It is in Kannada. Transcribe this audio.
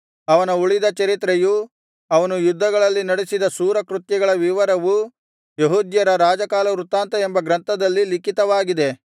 ಅವನ ಉಳಿದ ಚರಿತ್ರೆಯೂ ಅವನು ಯುದ್ಧಗಳಲ್ಲಿ ನಡಿಸಿದ ಶೂರಕೃತ್ಯಗಳ ವಿವರವೂ ಯೆಹೂದ್ಯರ ರಾಜಕಾಲವೃತ್ತಾಂತ ಎಂಬ ಗ್ರಂಥದಲ್ಲಿ ಲಿಖಿತವಾಗಿದೆ